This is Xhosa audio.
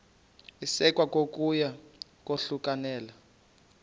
isekwa kokuya kwahlulelana